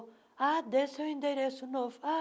Ah, desse o endereço novo. ah